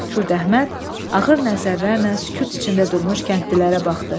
Kürdəhməd ağır nəzərlərlə sükut içində durmuş kəndlilərə baxdı.